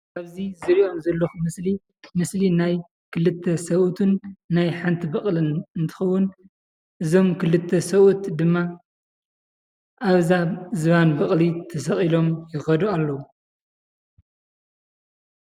ኣብዚ ዝርኦም ዘለኩ ምስሊ ምስሊ ናይ ክልተ ሰቡእትን ናይ ሓንቲ በቕልን እንትኸውን እዞም ክልተ ሰቡእት ድማ ኣብ ዝባን በቕሊ ተሰቒሎም ይኸዱ ኣለዉ።